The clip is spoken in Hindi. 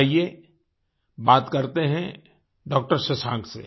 आइए बात करते हैं डॉक्टर शशांक से